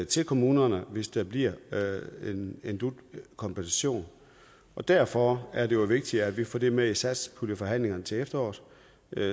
til kommunerne hvis der bliver en dut kompensation derfor er det vigtigt at vi får det med i satspuljeforhandlingerne til efteråret